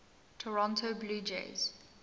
toronto blue jays